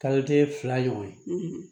Kalo kelen fila ɲɔgɔn